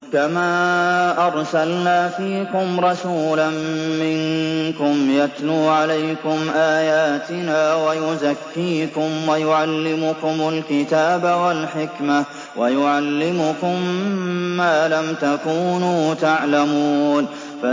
كَمَا أَرْسَلْنَا فِيكُمْ رَسُولًا مِّنكُمْ يَتْلُو عَلَيْكُمْ آيَاتِنَا وَيُزَكِّيكُمْ وَيُعَلِّمُكُمُ الْكِتَابَ وَالْحِكْمَةَ وَيُعَلِّمُكُم مَّا لَمْ تَكُونُوا تَعْلَمُونَ